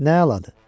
Nə əladır?